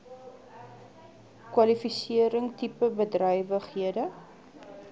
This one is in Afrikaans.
kwalifisering tipe bedrywighede